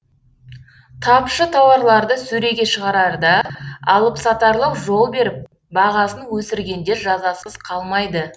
тапшы тауарларды сөреге шығарарда алыпсатарлық жол беріп бағасын өсіргендер жазасыз қалмайды